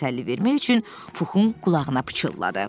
Piqlet təsəlli vermək üçün Puxun qulağına pıçılladı.